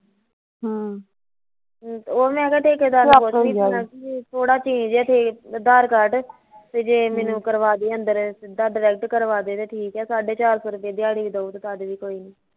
ਹਮ ਉਹ ਮੈਂ ਕਿਹਾਂ ਠੇਕੇਦਾਰ ਨੂੰ ਪੂਛਦੀ ਵੀ ਥੋੜਾ change ਐ ਅਧਾਰ ਕਾਰਡ ਤੇ ਜੇ ਮੈਨੂੰ ਕਰਵਾਦੇ ਅੰਦਰ, ਸਿੱਧਾ direct ਕਰਵਾਦੇ ਤੇ ਫੇਰ ਠੀਕ ਐ ਸਾਢੇ ਚਾਰ ਸੋ ਦਿਆੜੀ ਵੀ ਦਊ ਤੇ ਚੱਲ ਕੋਈ ਨੀ